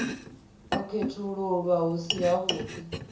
u khethululwa hu si havhuḓi